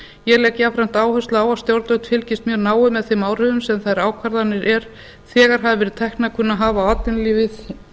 ég legg jafnframt áherslu á að stjórnvöld fylgist mjög náið með þeim áhrifum sem þær ákvarðanir er þegar hafa verið teknar kunna að hafa á atvinnulífið